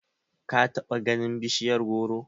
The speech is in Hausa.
ka bata ganin bishiyar goro?